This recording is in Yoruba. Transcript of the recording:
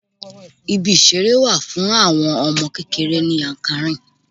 Ibi ìṣeré wà fún àwọn ọmọ kékeré ní Yankari.